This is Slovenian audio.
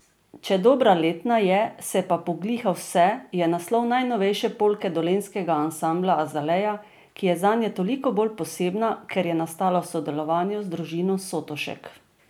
Če dobra letna je, se pa pogliha vse je naslov najnovejše polke dolenjskega ansambla Azalea, ki je zanje toliko bolj posebna, ker je nastala v sodelovanju z družino Sotošek.